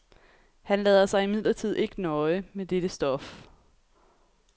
Han lader sig imidlertid ikke nøje med dette stof.